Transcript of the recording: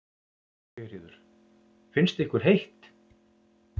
Sigríður: Finnst ykkur heitt?